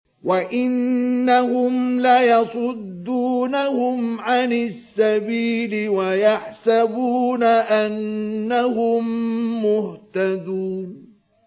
وَإِنَّهُمْ لَيَصُدُّونَهُمْ عَنِ السَّبِيلِ وَيَحْسَبُونَ أَنَّهُم مُّهْتَدُونَ